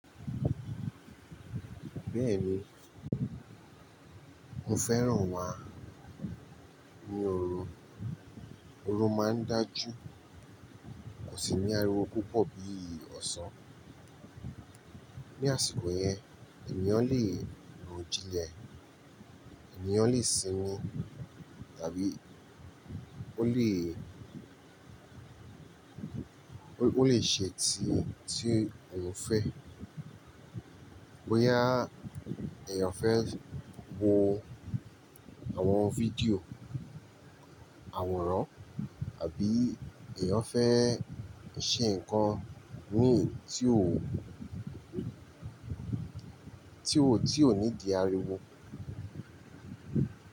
Bẹ́ẹ̀ni, mo fẹ́ràn wa ni òru, òru máa ń dájú, kò sì ní ariwo púpọ̀ bí ọ̀sán. Ni àsìkò yẹn èniyàn lè ro jínlẹ̀, èniyàn lè sinmi tàbí ó lè, ó lè ṣe tí tí èèyàn fẹ́. Bóyá èèyàn fẹ́ wo àwọn fídíò àwòrán àbí èèyàn fẹ́ ṣe nǹkan ní eyi tí ó, tí ó, tí ó need ariwo.